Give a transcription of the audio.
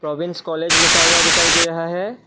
Province college लिखा हुआ दिखाई दे रहा है।